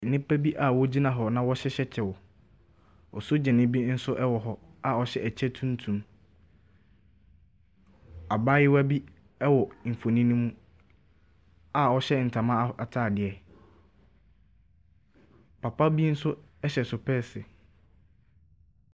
Nnipa bi a wɔgyina hɔ na wɔhyehyɛ kyɛw, osagyani bi nso wɔ hɔ ɔhyɛ kyɛ tuntum. Abaaewa bi wɔ mfonin ne mu a ɔhyɛ ntoma ataade. Papa bi nso hyɛ sepɛɛse.